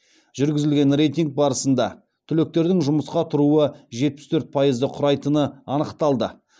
жүргізілген рейтинг барысында түлектердің жұмысқа тұруы жетпіс төрт пайызды құрайтыны анықталды